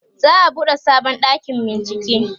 za'a buɗe sabon ɗakin bincike